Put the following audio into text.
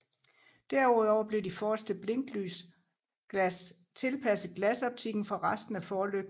Derudover blev de forreste blinklysglas tilpasset glasoptikken fra resten af forlygten